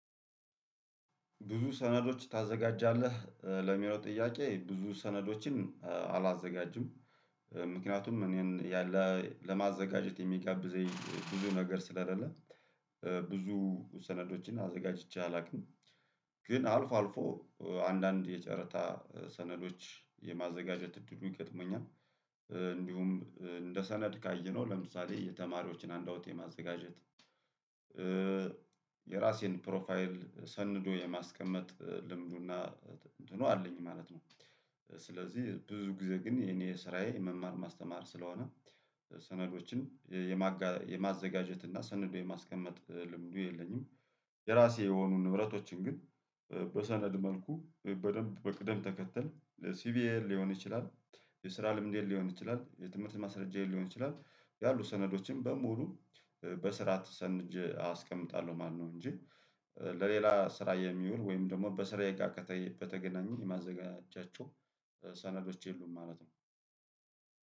ብዙ ሰነዶች ታዘጋጃለህ ለሚለው ጥያቄ ብዙ ሰነዶችን አላዘጋጅም። ምክንያቱም እኔን ያለ ለማዘጋጀት የሚጋብዘኝ ብዙ ነገር ስለሌለ። ብዙ ሰነዶችን አዘጋጅቼ አላውቅም። ግን አልፎ አልፎ አንዳንድ የጨረታ ሰነዶች የማዘጋጀት እድሉ ይገጥመኛል። እንዲሁም እንደ ሰነድ ካየነው ለምሳሌ የተማሪዎችን ሀንድአውት የማዘጋጀት የራሴን ፕሮፋይል ሰንዶ የማስቀመጥ ልምዱና እንትኑ አለኝ ማለት ነው። ስለዚህ ብዙ ጊዜ ግን የኔ ስራዬ መማር ማስተማር ስለሆነ። ሰነዶችን የማዘጋጀት እና ሰነድ የማስቀመጥ ልምዱ የለኝም። የራሴ የሆኑ ንብረቶችን ግን በሰነድ መልኩ በደንብ በቅደም ተከተል ሲቪዬን ሊሆን ይችላል። የስራ ልምዴል ሊሆን ይችላል የትምህርት ማስረጃዬን ሊሆን ይችላል ያሉ ሰነዶችን በሙሉ በስራት ሰንጄ አስቀምጣለሁ ማለት ነው። እንጂ ለሌላ ስራ የሚውል ወይም ደግሞ በስራ የጋር በተገናኘ የማዘጋጃቸው ሰነዶች የሉም ማለት ነው።